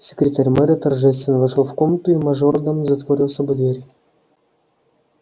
секретарь мэра торжественно вошёл в комнату и мажордом затворил за собой дверь